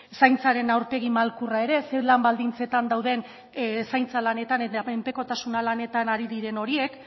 zaintzaren aurpegi malkurra ere zein lan baldintzetan dauden zaintzan lanetan eta menpekotasuna lanetan ari diren horiek